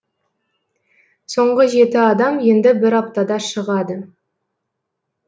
соңғы жеті адам енді бір аптада шығады